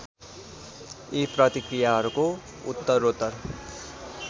यी प्रतिक्रियाहरू उत्तरोत्तर